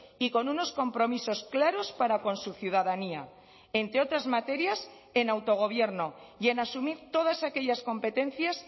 y con unos compromisos claros para con su ciudadanía entre otras materias en autogobierno y en asumir todas aquellas competencias